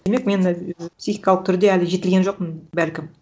демек мен психикалық түрде әлі жетілген жоқпын бәлкім